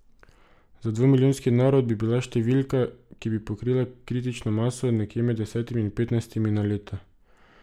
Za dvomilijonski narod bi bila številka, ki bi pokrila kritično maso, nekje med desetimi in petnajstimi na leto.